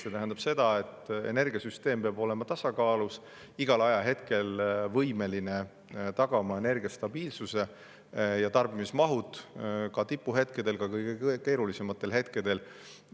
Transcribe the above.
See tähendab seda, et energiasüsteem peab olema tasakaalus, igal ajahetkel võimeline tagama energia stabiilsuse ja tarbimismahud ka tipuhetkedel, ka kõige keerulisematel hetkedel.